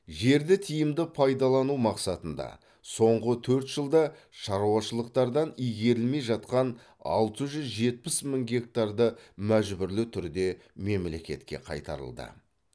жерді тиімді пайдалану мақсатында соңғы төрт жылда шаруашылықтардан игерілмей жатқан алты жүз жетпіс мың гектарды мәжбүрлі түрде мемлекетке қайтарылды